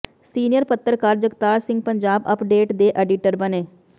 senior ਪੱਤਰਕਾਰ Jagtar Singh Punjab update ਦੇ editor ਬਣੇ